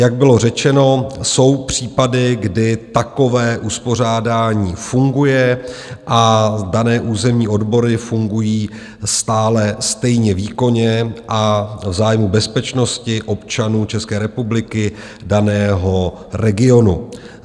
Jak bylo řečeno, jsou případy, kdy takové uspořádání funguje, a dané územní odbory fungují stále stejně výkonně a v zájmu bezpečnosti občanů České republiky daného regionu.